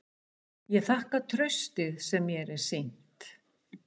Ég þakka traustið sem mér er sýnt.